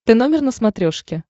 тномер на смотрешке